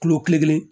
Kilo kelen